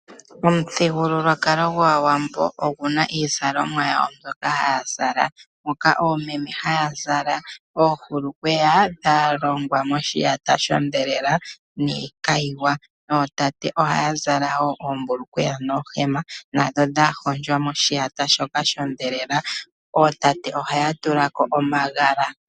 Omuthigululwakalo gwAawambo oguna iizalomwa yawo mbyoka haya zala, moka oomeme haya zala oohulukweya dhalongwa moshiyata shodhelela niikayiwa, nootate ohaya zala woo oohema dhoshiyata shodhelela, ootate ohaya tulako wo omagala.